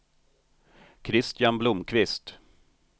Christian Blomqvist